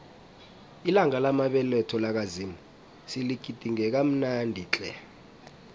ilanga lamabeletho lakamuzi siligidinge kamnandi tle